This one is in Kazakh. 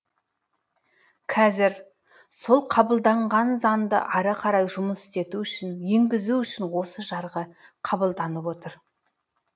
қазір сол қабылданған заңды ары қарай жұмыс істету үшін енгізу үшін осы жарғы қабылданып отыр